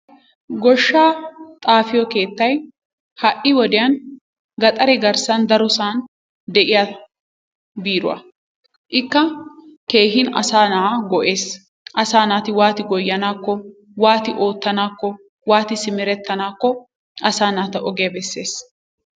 Goshshaa xafiyo keettay ha'i woddiyan gaxare garssan darossan de'iya biiruwa. Ikka keehin asaa na'aa go'ees. Asaa naati waati goyanaakko, wati ootanaakko waati simeretenaako asaa naata ogiya besees.